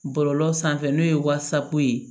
Bɔlɔlɔ sanfɛ n'o ye wasapu ye